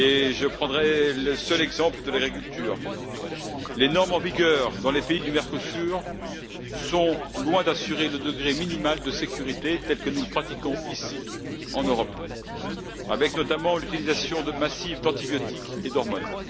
Je prendrai le seul exemple de l'agriculture où les normes en vigueur dans les pays du Mercosur sont loin d'assurer le degré minimal de sécurité tel que nous le pratiquons, ici, en Europe, avec notamment l'utilisation massive d'antibiotiques et d'hormones.